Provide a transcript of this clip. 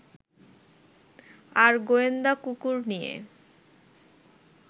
আর গোয়েন্দা কুকুর নিয়ে